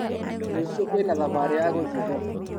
Rũcĩũ kwĩna thabarĩ ya gũthiĩ thoko.